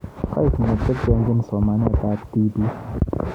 Kokoek ne teteanjin somanet ab tibiik